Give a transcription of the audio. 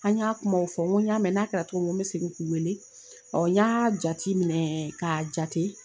An y'a kumaw fɔ, n ko n y'a mɛn, na ka togo min, n ko mi segin k'u weele, n y'a jateminɛ, ka jate